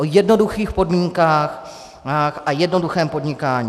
O jednoduchých podmínkách a jednoduchém podnikání.